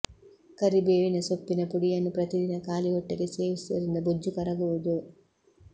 ಕರಿಬೇವಿನ ಸೊಪ್ಪಿನ ಪುಡಿ ಯನ್ನು ಪ್ರತಿದಿನ ಖಾಲಿಹೊಟ್ಟೆಗೆ ಸೇವಿಸುವುದರಿಂದ ಬೊಜ್ಜು ಕರಗುವುದು